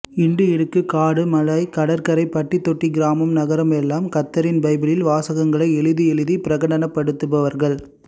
இண்டுஇடுக்கு காடு மலை கடற்கரை பட்டிதொட்டி கிராமம் நகரம் எல்லாம் கர்த்தரின் பைபிள் வாசகங்களை எழுதி எழுதி பிரகடனப்படுத்துபவர்கள்